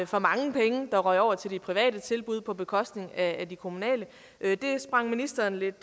for mange penge der røg over til de private tilbud på bekostning af de kommunale det sprang ministeren lidt